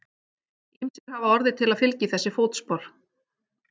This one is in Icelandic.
Ýmsir hafa orðið til að fylgja í þessi fótspor.